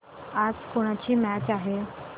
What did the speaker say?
आज कोणाची मॅच आहे